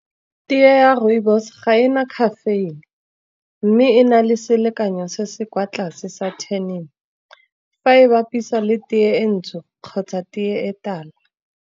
Tee ya rooibos ga ena caffeine, mme e na le selekanyo se se kwa tlase sa tannin, fa e bapiswa le teye e ntsho kgotsa tee e tala.